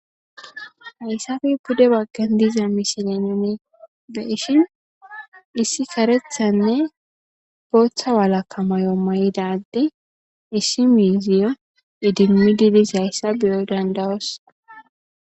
Hayssafe pude baggan diza mishilenimi beshin issi karethanne booththa walakamayo mayidadde issi miiziyo idimmi dilis hayssa biyoy dandawos.